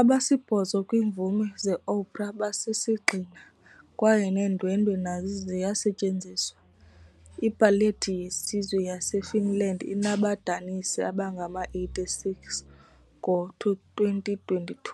Abasibhozo kwiimvumi zeopera basisigxina, kwaye neendwendwe nazo ziyasetyenziswa. iBallet yeSizwe yaseFinland inabadanisi abangama-86. Ngo-2022,